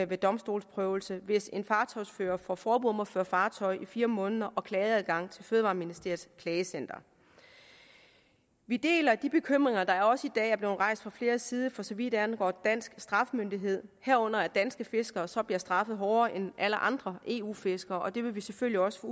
ved domstolsprøvelse hvis en fartøjsfører får forbud mod at føre fartøj i fire måneder og klageadgang til fødevareministeriets klagecenter vi deler de bekymringer der også i dag er blevet rejst fra flere sider for så vidt angår dansk strafmyndighed herunder at danske fiskere så bliver straffet hårdere end alle andre eu fiskere og det vil vi selvfølgelig også